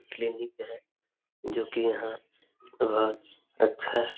clinic है जो कि यहाँ बहुत अच्छा --